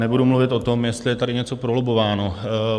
Nebudu mluvit o tom, jestli je tady něco prolobbováno.